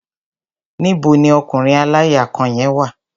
Níbo ni ọkùnrin aláya kan yẹn wà?